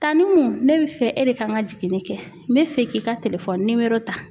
Tanukun ne bi fɛ e de ka n ka jiginni kɛ n be fɛ k'i ka ta.